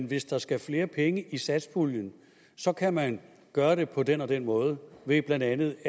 hvis der skal flere penge i satspuljen så kan man gøre det på den og den måde blandt andet